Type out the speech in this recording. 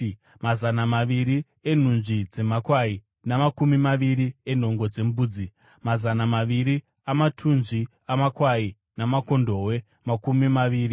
mazana maviri enhunzvi dzemakwai namakumi maviri enhongo dzembudzi, mazana maviri amatunzvi amakwai namakondobwe makumi maviri,